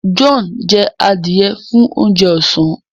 John jẹ adiẹ fún oúnjẹ ọsán